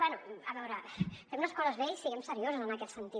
bé a veure fem les coses bé i siguem seriosos en aquest sentit